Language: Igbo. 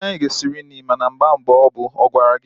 Nne anyi ga-esi nri mana amaghi mgbe o bu. Ọ gwara gi?